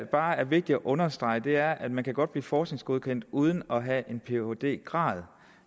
bare er vigtigt at understrege er at man godt kan blive forskningsgodkendt uden at have en phd grad